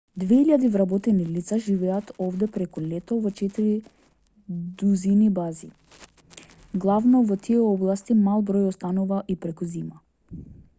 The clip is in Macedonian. две илјади вработени лица живеат овде преку летото во четири дузини бази главно во тие области мал број останува и преку зима